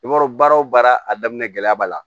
I b'a dɔn baara o baara a daminɛ gɛlɛya b'a la